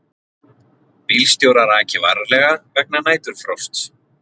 Bílstjórar aki varlega vegna næturfrosts